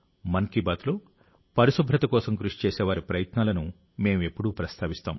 మన్ కీ బాత్లో పరిశుభ్రత కోసం కృషిచేసేవారి ప్రయత్నాలను మేం ఎప్పుడూ ప్రస్తావిస్తాం